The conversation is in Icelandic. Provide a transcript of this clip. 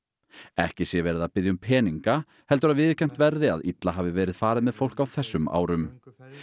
ekki sé verið að biðja um peninga heldur að viðurkennt verði að illa hafi verið farið með fólk á þessum árum